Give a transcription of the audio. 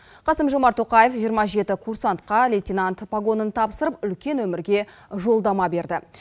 қасым жомарт тоқаев жиырма жеті курсантқа лейтенант погонын тапсырып үлкен өмірге жолдама берді